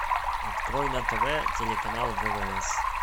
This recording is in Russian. открой на тв телеканал ввс